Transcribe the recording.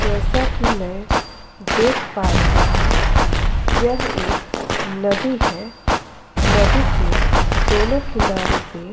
जैसा कि मैं देख पा रही हूं यह एक नदी है। नदी के दोनों किनारों पे --